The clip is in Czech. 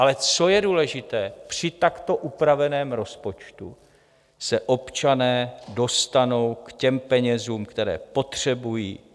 Ale co je důležité, při takto upraveném rozpočtu se občané dostanou k těm penězům, které potřebují.